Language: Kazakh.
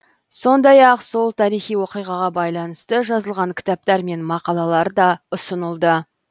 сондай ақ сол тарихи оқиғаға байланысты жазылған кітаптар мен мақалалар да ұсынылды